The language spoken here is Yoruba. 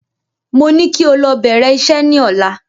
Mo ní kí o lọ bèrè isẹ́ ní ọ̀la